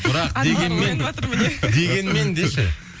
бірақ дегенмен міне дегенмен деші